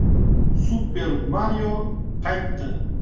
“Super Mario” qaytdi.